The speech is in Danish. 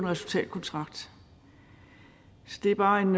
resultatkontrakt så det er bare en